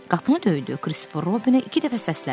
Qapını döydü, Kristofer Robini iki dəfə səslədi.